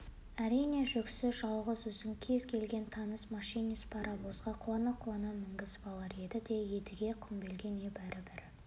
әрине жүксіз жалғыз өзін кез келген таныс машинист паровозға қуана-қуана мінгізіп алар еді де едіге құмбелге небары бір